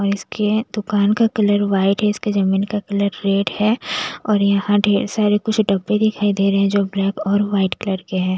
और इसके दुकान का कलर वाइट है इसके जमीन का कलर रेड है और यहाँ ढेर सारे कुछ डब्बे दिखाई दे रहे हैं जो ब्लैक और वाइट कलर के हैं।